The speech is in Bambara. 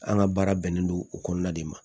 An ka baara bɛnnen don o kɔnɔna de ma